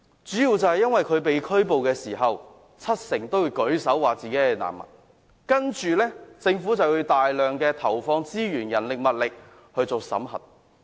主要是當他們被拘捕時，七成會說自己是難民，政府於是要投放大量資源進行審核。